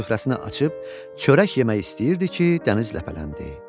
Süfrəsini açıb çörək yemək istəyirdi ki, dəniz ləpələndi.